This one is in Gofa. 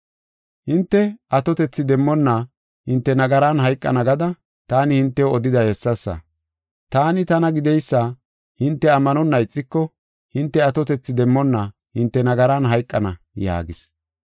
Hinte atotethi demmonna hinte nagaran hayqana gada taani hintew odiday hessasa. ‘Taani Tana Gideysa’ hinte ammanonna ixiko hinte atotethi demmonna hinte nagaran hayqana” yaagis.